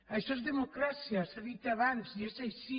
això és democràcia s’ha dit abans i és així